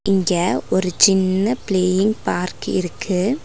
இங்க ஒரு சின்ன பிளேயிங் பார்க் இருக்கு.